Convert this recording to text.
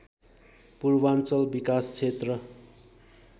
पूर्वाञ्चल विकास क्षेत्र